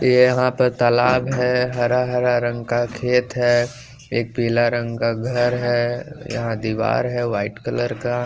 यहाँ पर तालाब है हरा-हरा रंग का खेत है एक पीला रंग का घर है यहाँ दीवार है वाइट कलर का।